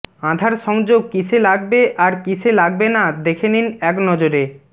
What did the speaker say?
আধার সংযোগ কীসে লাগবে আর কীসে লাগবে না দেখে নিন এক নজরে